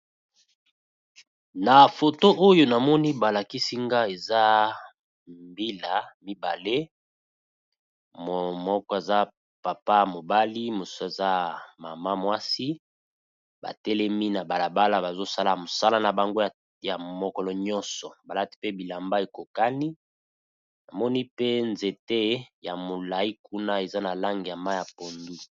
Na foto oyo namoni ba lakisi nga eza mbila mibale moko aza papa mobali mosusu aza mama mwasi, ba telemi na bala bala bazo sala mosala na bango ya mokolo nyonso balati pe bilamba ekokani. Namoni pe nzete ya molai kuna, eza na langi ya mayi ya pondu.